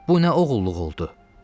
Bu nə oğulluq oldu?